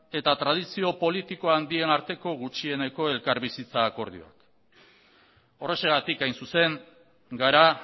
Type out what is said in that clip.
eta tradizio politiko handien arteko gutxieneko elkarbizitza akordioa horrexegatik hain zuzen gara